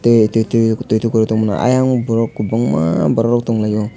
e tei tui tukorui tongmani ayang o borok kwbangma borokrok tonglai o.